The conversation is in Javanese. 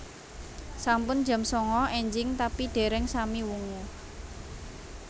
Sampun jam sanga enjing tapi dereng sami wungu